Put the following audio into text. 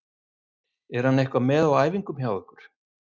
Er hann eitthvað með á æfingum hjá ykkur?